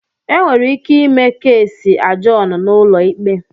Enwere ike ime keesi ajọọn na ụlọikpe.